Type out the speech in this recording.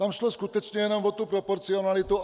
Tam šlo skutečně jenom o tu proporcionalitu.